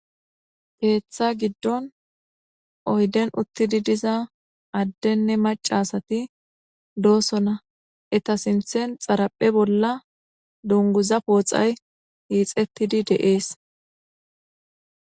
Peeththa giddon oyden uttidi diza addenne macasati doosona eta sinthen xaraphe bolla dunguza pooxay hiixettidi de7ees.